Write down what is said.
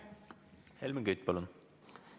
Helmen Kütt, palun!